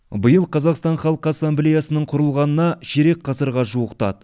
биыл қазақстан халқы ассамблеясының құрылғанына ширек ғасырға жуықтады